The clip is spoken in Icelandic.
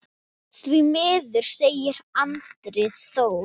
Því miður, segir Andri Þór.